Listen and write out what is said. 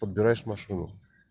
подбираешь машину